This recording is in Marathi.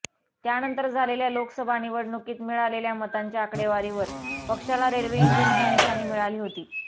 त्यानंतर झालेल्या लोकसभा निवडणूकीत मिळालेल्या मतांच्या आकडेवारीवर पक्षाला रेल्वे इंजिन ही निशाणी मिळाली होती